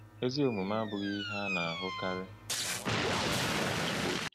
“Ezi omume abụghị ihe a na-ahụkarị,” ka nwanyị onye ahịa ahụ kwuru.